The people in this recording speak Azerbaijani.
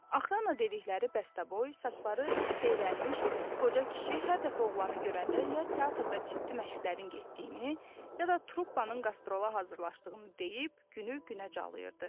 Aaxrana dedikləri bəstəboy, saçları seyrəlmiş qoca kişi hər dəfə oğlanı görəndə ya teatrda ciddi məşqlərin getdiyini, ya da truppanın qastrolda hazırlaşdığını deyib günü günə calayırdı.